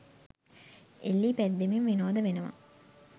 එල්ලී පැද්දෙමින් විනෝද වෙනවා.